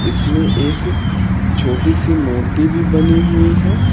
इसमें एक छोटी सी मूर्ति भी बनी हुई हैं।